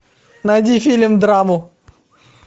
найди фильм драму